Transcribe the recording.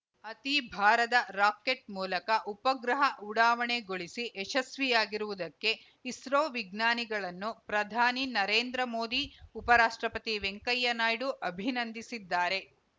ಅತಿ ಭಾರದ ರಾಕೆಟ್‌ ಮೂಲಕ ಉಪಗ್ರಹ ಉಡಾವಣೆಗೊಳಿಸಿ ಯಶಸ್ವಿಯಾಗಿರುವುದಕ್ಕೆ ಇಸ್ರೋ ವಿಜ್ಞಾನಿಗಳನ್ನು ಪ್ರಧಾನಿ ನರೇಂದ್ರ ಮೋದಿ ಉಪರಾಷ್ಟ್ರಪತಿ ವೆಂಕಯ್ಯ ನಾಯ್ಡು ಅಭಿನಂದಿಸಿದ್ದಾರೆ